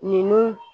Ninnu